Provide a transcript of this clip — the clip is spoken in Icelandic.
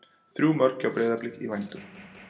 Þrjú mörk frá Breiðablik í vændum?